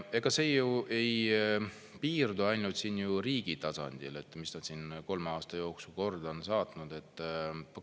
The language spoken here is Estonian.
Ega see ju ei piirdu ainult riigi tasandil, mis nad siin kolme aasta jooksul korda on saatnud.